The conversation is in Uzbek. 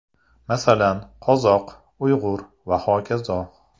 Masalan, qozoq, uyg‘ur va hokazo.